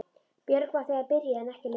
Björg var þegar byrjuð en ekki Linda.